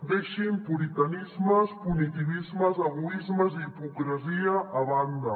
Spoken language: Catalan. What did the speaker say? deixin puritanismes punitivismes egoismes i hipocresia a banda